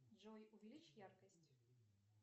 джой увеличь яркость